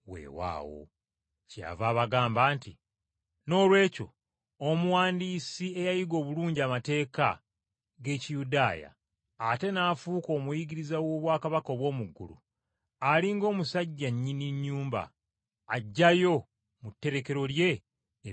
Kyeyava abagamba nti, “Noolwekyo omuwandiisi eyayiga obulungi amateeka g’Ekiyudaaya ate n’afuuka omuyigiriza w’obwakabaka obw’omu ggulu, ali ng’omusajja nnyini nnyumba, aggyayo mu tterekero lye ebipya n’ebikadde.”